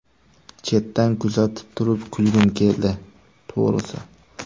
Chetdan kuzatib turib kulgim keldi, to‘g‘risi.